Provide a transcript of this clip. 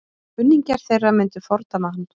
Kunningjar þeirra myndu fordæma hann.